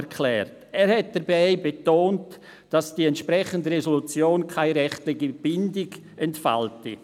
Er betonte dabei, dass die entsprechende Resolution keine rechtliche Bindung entfalte.